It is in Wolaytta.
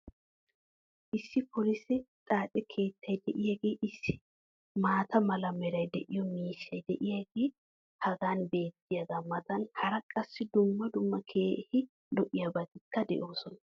issi polisse xaace keettay diyaagee issi maata mala meray de'iyo miishshay diyaagee hagan beetiyaagaa matan hara qassi dumma dumma keehi lo'iyaabatikka de'oosona.